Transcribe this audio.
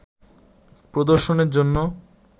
প্রদর্শনের জন্য